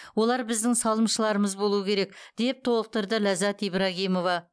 олар біздің салымшыларымыз болуы керек деп толықтырды ляззат ибрагимова